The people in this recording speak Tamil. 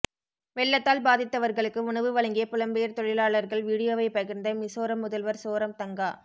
வெள்ளத்தால் பாதித்தவர்களுக்கு உணவு வழங்கிய புலம்பெயர் தொழிலாளர்கள் வீடியோவை பகிர்ந்த மிசோரம் முதல்வர் சோரம் தங்கா